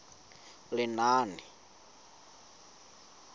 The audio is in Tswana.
lenaane